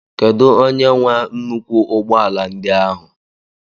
Kedu onye nwe nnukwu ụgbọ ala ndi áhu?